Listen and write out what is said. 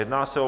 Jedná se o